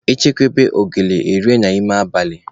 E chekwube ogoli, erie n'ime abalị